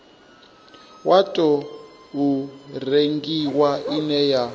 wa tou rengiwa ine ya